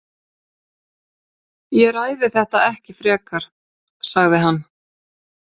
Ég ræði þetta ekki frekar sagði hann.